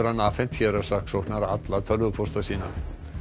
hann afhent héraðssaksóknara alla tölvupósta sína